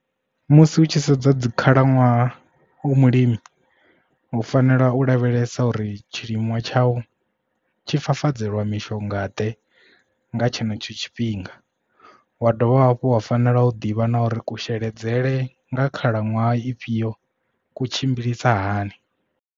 Musi hu tshi sedzwa dzi khalaṅwaha u mulimi u fanela u lavhelesa uri tshilinwa tsha u tshifafadzelwa mishonga ḓe nga tshenetsho tshifhinga wa dovha hafhu wa fanela u ḓivha na uri kusheledzele nga khalaṅwaha ifhio ku tshimbilisa hani.